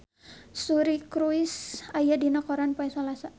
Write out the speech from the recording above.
Suri Cruise aya dina koran poe Salasa